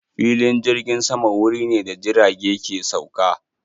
Filin jirgin sama wuri ne da jirage ke sauka.